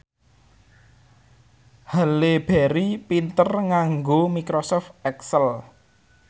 Halle Berry pinter nganggo microsoft excel